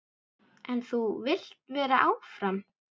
En þú vilt vera áfram?